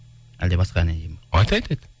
әлде басқа ән айтайын ба айт айт айт